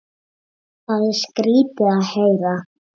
Það er skrýtið að heyra.